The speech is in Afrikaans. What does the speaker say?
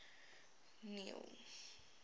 neil